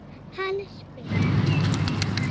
Hann spyr.